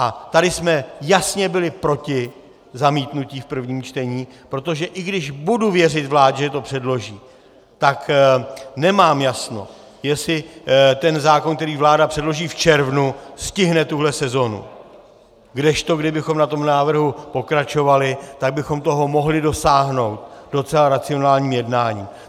A tady jsme jasně byli proti zamítnutí v prvním čtení, protože i když budu věřit vládě, že to předloží, tak nemám jasno, jestli ten zákon, který vláda předloží v červnu, stihne tuhle sezonu, kdežto kdybychom na tom návrhu pokračovali, tak bychom toho mohli dosáhnout docela racionálním jednáním.